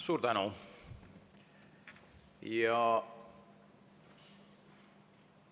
Suur tänu!